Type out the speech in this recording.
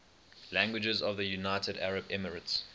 languages of the united arab emirates